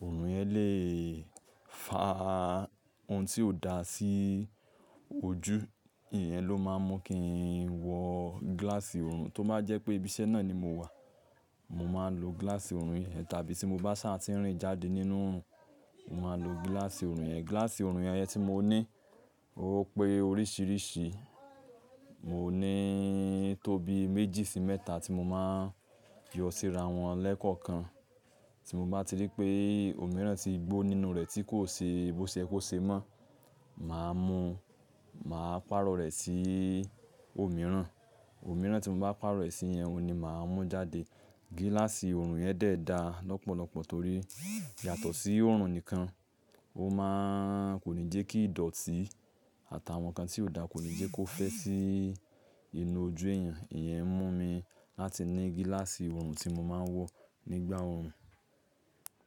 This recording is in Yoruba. oorun yẹn le fa oun tí ò dá sí ojú. Ìyẹn ló máa ń mú kí n wọ gíláàsì oorun. Tó ma jẹ́ pé ibiṣẹ́ náà ni mo wà, mo máa ń lo gíláàsì oorun yẹn. Tàbí tí mo bá ṣàtínrìn jáde nínú, mo máa ń lo gíláàsì oorun yẹn. Gíláàsì oorun yẹn tí mo ní, ó pé oríṣiríṣi. Mo ní tóbi méjì sí mẹ́ta tí mo máa yọ síra wọn lẹ́kọ̀ọ̀kan. Tí mo bá ti rí pé òmíràn ti gbó nínú rẹ̀ tí kò ṣe ìbọ̀ṣẹ̀ kò ṣe mọ́, màá mú, màá pàrọ̀ rẹ̀ sí òmíràn. Òmíràn tí mo bá pàrọ̀ rẹ̀ sí yẹn oun ni màá mú jáde. Gíláàsì oorun yẹn dẹ̀ da lọ́pọ̀lọpọ̀ torí yàtọ̀ sí oorun nìkan, ó máa kò ní jẹ́ kí ìdọ̀tí àtàwọn nǹkan tí ò dá kò ní jẹ́ kó fẹ́ sí inú ojú èèyàn. Ìyẹn mú mi láti ní gíláàsì oorun tí mo máa ń wọ nígbà oorun.